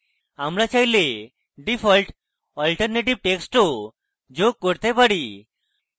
আমরা চাইলে default alternative text ও যোগ করতে পারি